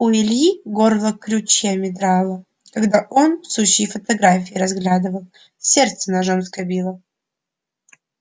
у ильи горло крючьями драло когда он сучьи фотографии разглядывал сердце ножом скобило